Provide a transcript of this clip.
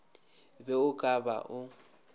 be o ka ba o